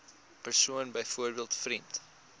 persoon byvoorbeeld vriend